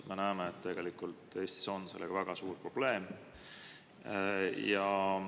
Me näeme, et Eestis on sellega väga suur probleem.